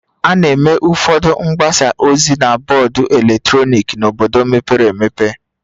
A na-eme ụfọdụ mgbasa ozi na bọọdụ eletrọnịkị n'obodo mepere emepe